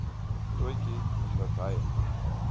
katotjie omdat hy